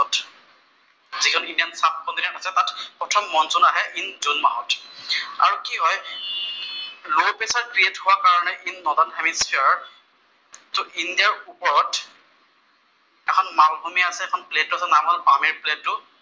প্ৰথম মনচুন আহে in June মাহত। আৰু কি হয়, লʼ প্ৰেচাৰ ক্ৰিয়েট হোৱাৰ কাৰণে ইন নৱেন হালিফ চেয়াৰত চʼ ইণ্ডিয়াৰ ওপৰত এখন প্লেট আছে, নাম হʼল পামিৰ প্লেটটোৰ